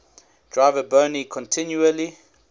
driver boni continually